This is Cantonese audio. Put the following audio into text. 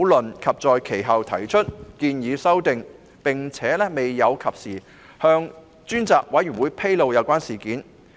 周議員其後提出修訂建議，卻未有及時向專責委員會披露有關事件。